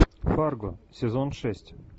фарго сезон шесть